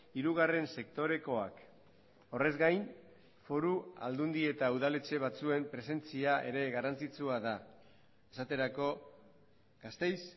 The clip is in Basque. hirugarren sektorekoak horrez gain foru aldundi eta udaletxe batzuen presentzia ere garrantzitsua da esaterako gasteiz